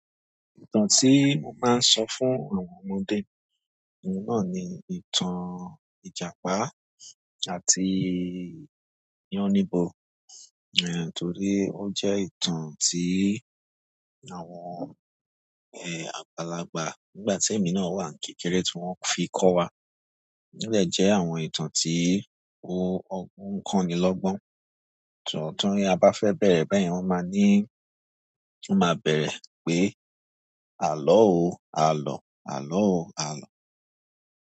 Ìtàn tí wón máa ń sọ fún àwọn ọmọdé, owun náà ni ìtàn Ìjàpá àti Yánníbo, eh, torí ó jẹ́ ìtàn tí àwọn, eh, àgbàlagbà nígbà tí èmi náà wà n kékeré tí wọ́n fi kọ́ wa. Ó dẹ́ jẹ́ àwọn ìtàn tí ó on ko ni lọ́gbọ́n. Ti abá fẹ́ bẹ̀rẹ̀ bẹ́yẹn wọ́n máa ní, wọ́n máa bẹ̀rẹ̀ pé, "Àlọ́ o, a lò, àlọ́ o, a lò."